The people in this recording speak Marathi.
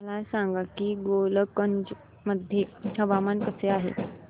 मला सांगा की गोलकगंज मध्ये हवामान कसे आहे